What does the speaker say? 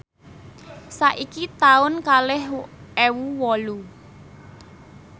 saiki taun kalih ewu wolu